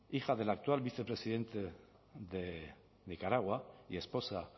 hija del actual vicepresidente de nicaragua y esposa